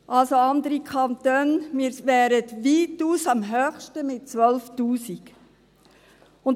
Verglichen mit anderen Kantonen wären wir weitaus am höchsten mit 12’000 Franken.